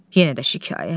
Yenə də şikayət?